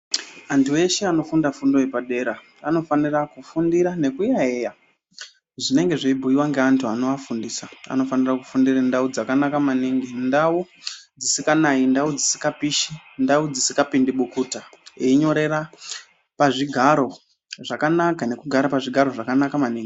Antu eshe anofundire fundo yepadera anofanira kufundira nekuyayeya zvinenge zveibhuyiwa ngeantu anoafundisa. Anofanire kufundire ndau dzakanaka maningi ndau dzisikanayi, ndau dzisingapishi ndau dzisingapindi bukuta einyorera pazvigaro zvakanaka nekugare pazvigaro zvakanaka maningi